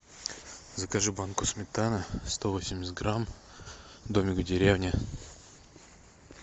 закажи банку сметаны сто восемьдесят грамм домик в деревне